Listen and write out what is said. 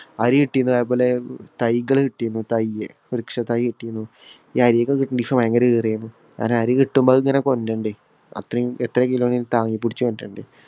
അരി കിട്ടിയുന്നു. അതേപോലെ തൈകള് കിട്ടീന്നു. തൈയ് വൃക്ഷ തൈ കിട്ടീന്നു. ഈ അരിയൊക്കെ കിട്ടുന്ന ഭയങ്കര . അരികിട്ടുമ്പോ അതിങ്ങനെ കൊണ്ട് വരണ്ടേ. അത്രയും എത്ര കിലോയും താങ്ങിപ്പിടിച്ചു കൊണ്ട് വരണ്ടേ.